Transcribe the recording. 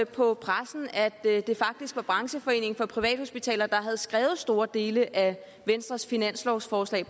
på pressen at det faktisk var brancheforeningen for privathospitaler og klinikker der havde skrevet store dele af venstres finanslovsforslag